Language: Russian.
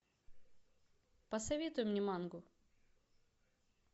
посоветуй мне мангу